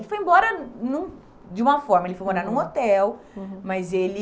Ele foi embora de uma forma, uhum, ele foi morar num hotel, uhum, mas ele...